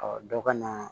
dɔ ka na